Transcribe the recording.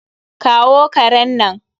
kawo karen nan!